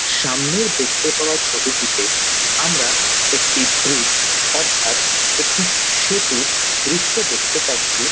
সামনের দেখতে পাওয়া ছবিটিতে আমরা একটি ব্রিজ অর্থাৎ একটি সেতুর দৃশ্য দেখতে পাচ্ছি।